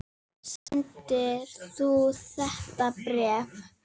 Samdir þú þetta bréf?